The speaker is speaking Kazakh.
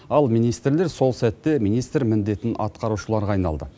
ал министрлер сол сәтте министр міндетін атқарушыларға айналды